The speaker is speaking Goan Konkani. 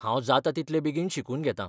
हांव जाता तितलें बेगीन शिकून घेतां.